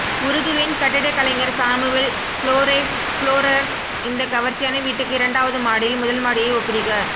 உருகுவேன் கட்டிடக்கலைஞர் Samuel Flores ஃப்ளோரர்ஸ் இந்த கவர்ச்சியான வீட்டுக்கு இரண்டாவது மாடியில் முதல் மாடியை ஒப்பிடுக